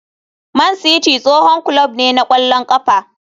Man City tsohon kulob ne na ƙwallon ƙafa.